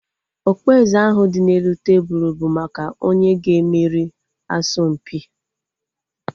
Okpueze ahu dị n'elu tebụlu bụ maka onye ga-emeri asọmpia